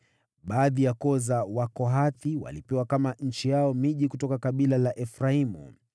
Baadhi ya koo za Wakohathi walipewa kama nchi yao miji kutoka kabila la Efraimu.